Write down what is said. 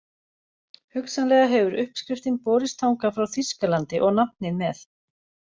Hugsanlega hefur uppskriftin borist þangað frá Þýskalandi og nafnið með.